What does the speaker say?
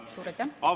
Suur aitäh!